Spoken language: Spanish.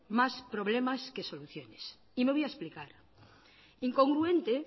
más problemas que soluciones y me voy a explicar incongruente